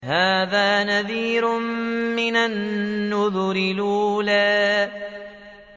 هَٰذَا نَذِيرٌ مِّنَ النُّذُرِ الْأُولَىٰ